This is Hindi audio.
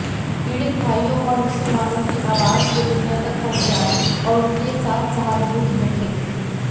पीड़ित भाइयों और मुसलमानों की आवाज़ को दुनिया तक पहुंचायें और उनके साथ सहानुभूति रखें